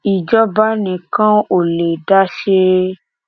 ìjọba nìkan ò lè dá a ṣe